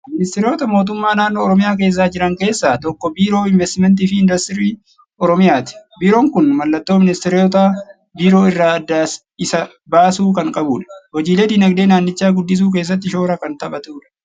Ministeerota Mootummaa Naannoo Oromiyaa keessa jiran keessaa tokko Biiroo Inveestimantii fi Industirii Oromiyaati. Biiroon kun mallattoo ministeerota biroo irraa adda isa baasu kan qabudha. Hojiilee dinagdee naannichaa guddisuu keessatti shoora kan taphatudha.